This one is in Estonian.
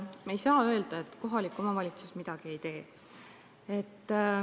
Me ei saa öelda, nagu kohalik omavalitsus midagi ei teeks.